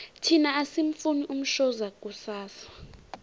thina asimufuni umshoza kusasa